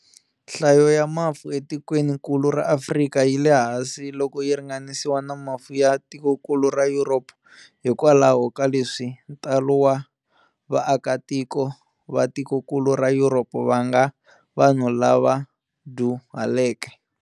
Nhlayo ya mafu e tikweni nkulu ra Afrika yile hansi loko yi ringanisiwa na mafu ya tikonkulu ra Yuropa, hikwalaho ka leswi ntalo wa va aka tiko va tikonkulu ra Yuropa vanga vanhu lava dyuhaleke.